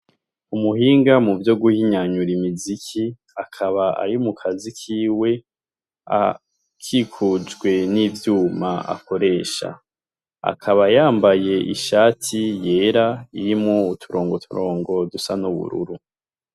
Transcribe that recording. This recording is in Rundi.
Umuhinga mu vyo guhinyanyura imiziki akaba ari mu kazi kiwe akikujwe n'ivyuma akoresha akaba yambaye ishati yera irimwo uturongoturongo dusa n'ubururu.